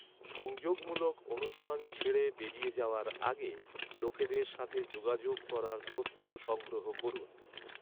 সংযোগমূলক অনুষ্ঠান ছেড়ে বেরিয়ে যাওয়ার আগে লোকেদের সাথে যোগাযোগ করার তথ্য সংগ্রহ করুন।